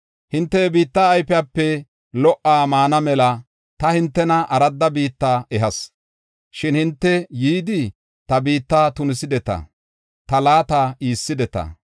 Hinte he biitta ayfiyape lo77uwa maana mela ta hintena aradda biitta ehas. Shin hinte yidi, ta biitta tunisideta; ta laata iisideta.